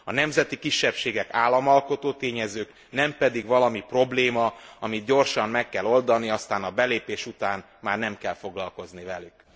A nemzeti kisebbségek államalkotó tényezők, nem pedig valami probléma, amit gyorsan meg kell oldani, aztán a belépés után már nem kell foglalkozni velük.